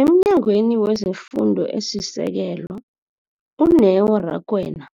EmNyangweni wezeFundo esiSekelo, u-Neo Rakwena,